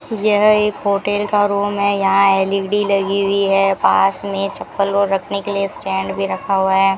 यह एक होटल का रूम है यहां एल_ई_डी लगी हुई है पास में चप्पल और रखने के लिए स्टैंड भी रखा हुआ है।